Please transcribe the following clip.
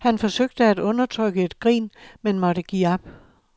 Han forsøgte at undertrykke et grin, men måtte give op.